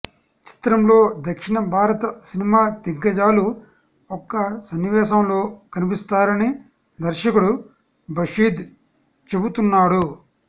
చిత్రంలో దక్షిణ భారత సినిమా దిగ్గజాలు ఒక సన్నివేశంలో కనిపిస్తారని దర్శకుడు బషీద్ చెబుతున్నాడు